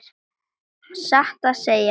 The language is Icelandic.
Satt að segja.